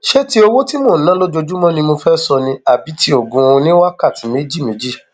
ṣé ti owó tí mò ń ná lójúmọ ni mo fẹẹ sọ ni àbí tí oògùn oníwákàtí méjìméjì